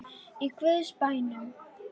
Í guðs bænum.